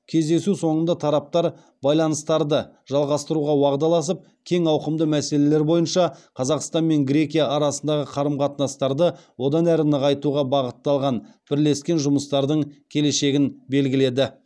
кездесу соңында тараптар байланыстарды жалғастыруға уағдаласып кең ауқымды мәселелер бойынша қазақстан мен грекия арасындағы қарым қатынастарды одан әрі нығайтуға бағытталған бірлескен жұмыстардың келешегін белгіледі